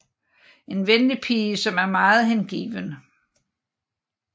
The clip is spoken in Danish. En venlig pige som er meget hengiven